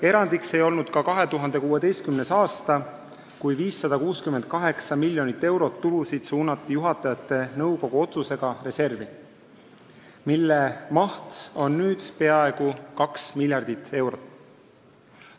Erandiks ei olnud ka 2016. aasta, kui 568 miljonit eurot tulusid suunati juhatajate nõukogu otsusega reservi, mille maht on nüüd peaaegu 2 miljardit eurot.